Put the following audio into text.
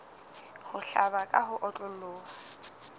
ho hlaba ka ho otloloha